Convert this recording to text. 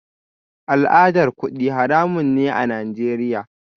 Al'adar kudi haramun ne a Najeriya